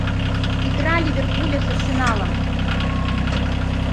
игра ливерпуля с арсеналом